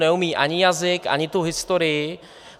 Neumí ani jazyk, ani tu historii.